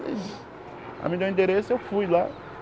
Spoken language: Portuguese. Ela me deu o endereço e eu fui lá.